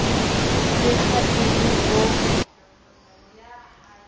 le ha e le bo